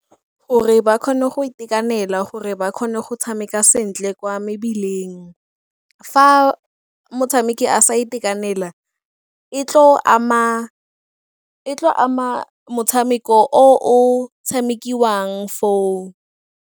Gore ba kgone go itekanela gore ba kgone go tshameka sentle kwa mebileng. Fa motshameki a sa itekanela e tlo ama motshameko o o tshamekiwang foo.